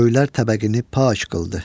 Göylər təbəqəni pak qıldı.